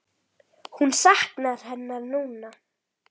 Hún saknar hennar núna.